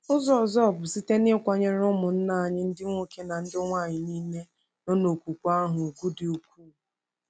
Ụzọ ọzọ bụ site n’ịkwanyere ụmụnna anyị ndị nwoke na ndị nwanyị nile nọ n’okwukwe ahụ ùgwù dị ukwuu.